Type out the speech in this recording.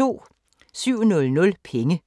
07:00: Penge